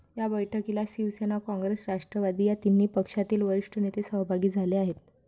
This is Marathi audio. या बैठकीला शिवसेना, काँग्रेस, राष्ट्रवादी या तिन्ही पक्षातील वरिष्ठ नेते सहभागी झाले आहेत.